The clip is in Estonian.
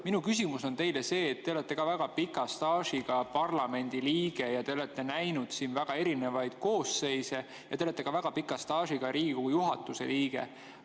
Minu küsimus on teile, kes te olete väga pika staažiga parlamendiliige, te olete näinud siin väga erinevaid koosseise ja te olete ka väga pika staažiga Riigikogu juhatuse liige.